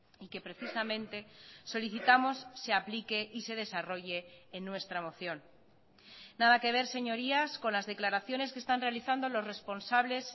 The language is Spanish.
y que precisamente solicitamos se aplique y se desarrolle en nuestra moción nada que ver señorías con las declaraciones que están realizando los responsables